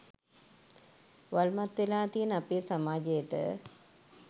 වල්මත් වෙලා තියෙන අපේ සමාජයට